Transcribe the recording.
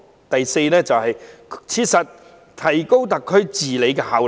第四，切實提高特區治理效能。